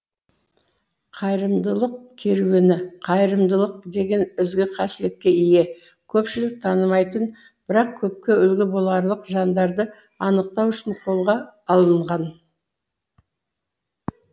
қайырымдылық керуені қайырымдылық деген ізгі қасиетке ие көпшілік танымайтын бірақ көпке үлгі боларлық жандарды анықтау үшін қолға алынған